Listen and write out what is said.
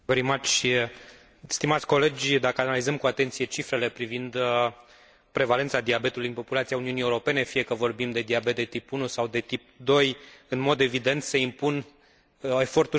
Dacă analizăm cu atenție cifrele privind prevalența diabetului în rândul populației Uniunii Europene, fie că vorbim de diabet de tip 1 sau de tip 2, în mod evident se impun eforturi serioase de combatere a diabetului.